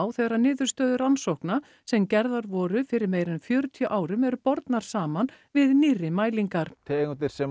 þegar niðurstöður rannsókna sem gerðar voru fyrir meira en fjörutíu árum eru bornar saman við nýrri mælingar tegundir sem